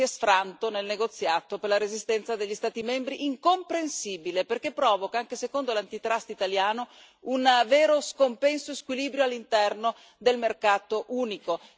Si è sfranto nel negoziato per la resistenza degli Stati membri, incomprensibile, perché provoca, anche secondo l'antitrust italiano, un vero scompenso e squilibrio all'interno del mercato unico.